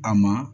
A ma